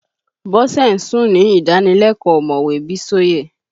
Bọ́sẹ̀ ń sùn ni ìdánilẹ́kọ́ọ̀ omowe Bísóyè